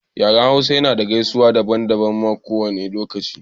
Yaren hausa ya na da gaisuwa daban daban ma kowane lokaci